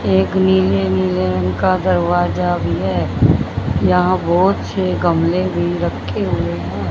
एक नीले नीले रंग का दरवाजा भी है यहां बहोत से गमले भी रखे हुए हैं।